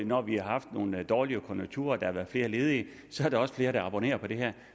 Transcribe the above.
når vi har haft nogle dårlige konjunkturer og der har været flere ledige så er der også flere der abonnerer på det her